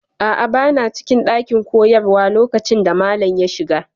A'a, bana cikin ɗakin koyarwa lokacin da malam ya shiga.